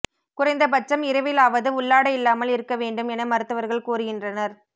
குறைந்தபட்சம் இரவிலாவது உள்ளாடை இல்லாமல் இருக்க வேண்டும் என மருத்துவர்கள் கூறுகின்றனர்